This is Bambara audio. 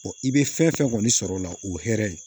i bɛ fɛn fɛn kɔni sɔrɔ o la o hɛrɛ ye